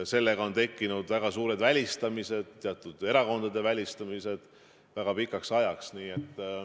Sellega tekkisid väga suured välistamised, teatud erakondade välistamised väga pikaks ajaks.